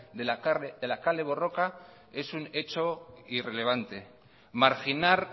de la kale borroka es un hecho irrelevante marginar